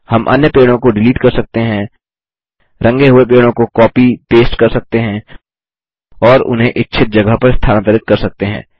हम अन्य पेड़ों को डिलीट कर सकते हैं रंगे हुए पेड़ों को कॉपी पेस्ट कर सकते हैं और उन्हें इच्छित जगह पर स्थानांतरित कर सकते हैं